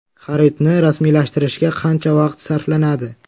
Xaridni rasmiylashtirishga qancha vaqt sarflanadi?